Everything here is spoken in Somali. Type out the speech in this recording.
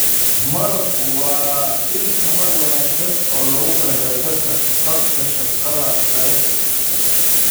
Malabku waa il tamar wanaagsan oo loogu talagalay dadka qabta shaqada adag.